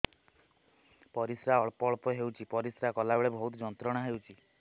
ପରିଶ୍ରା ଅଳ୍ପ ଅଳ୍ପ ହେଉଛି ପରିଶ୍ରା କଲା ବେଳେ ବହୁତ ଯନ୍ତ୍ରଣା ହେଉଛି